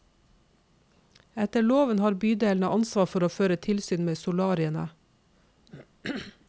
Etter loven har bydelene ansvar for å føre tilsyn med solariene.